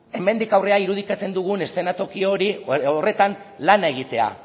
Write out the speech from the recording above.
hemendik aurrera irudikatzen dugun eszenatoki horretan lana egitea